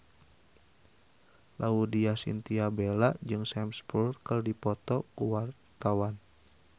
Laudya Chintya Bella jeung Sam Spruell keur dipoto ku wartawan